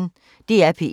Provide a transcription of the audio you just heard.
DR P1